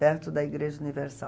Perto da Igreja Universal.